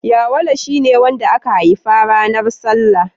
Yawale shi ne wanda aka haifa ranar salla.